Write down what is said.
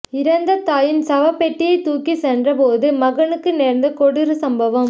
இறந்த தாயின் சவப்பெட்டியை தூக்கி சென்ற போது மகனுக்கு நேர்ந்த கொடூர சம்பவம்